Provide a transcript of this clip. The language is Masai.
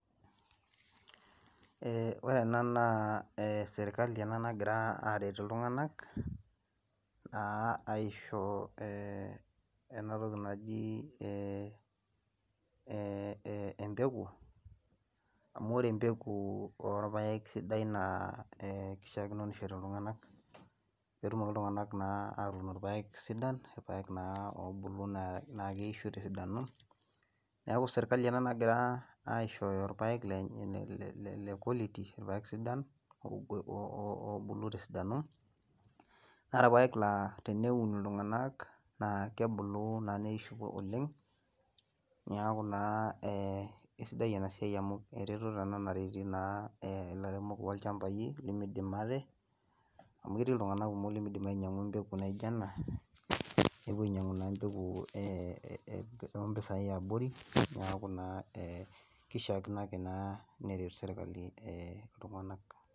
ore ena naa serkali ena nagira aaret iltunganak, naa aisho ee ena toki naji empeku, amu ore empeku orpaek naa kishakino nishori iltunganak. pee etumoki iltunganak naa atuun lpaek sidai, ilpaek naa oobulu naa keisho tesidano, neeku sirkali ena nagira aishooyo ilpaek lenye, le quality ilpaek sidan, oobulu te sidano ,naa irpaek laa teneun iltungnak na kebulu naa oleng neeku naa isidai ena siai oleng, amu eretoto ena nareti naa ilairemok lolchampai lemidim ate, amu keti iltunganak kumok lemidim ainyiang'u empeku naijo ena. nepuo ainyiang'u naa empeku too mpisai yiabori, neku naa kishaakino ake neret sirkali ltunganak.